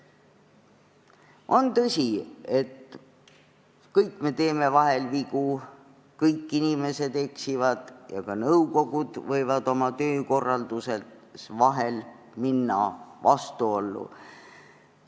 On tõsi, et kõik me teeme vahel vigu, kõik inimesed eksivad ja ka nõukogud võivad oma töökorraldusega vahel vastuollu minna.